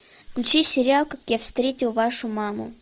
включи сериал как я встретил вашу маму